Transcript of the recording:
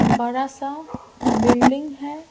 बड़ा सा बिल्डिंग है।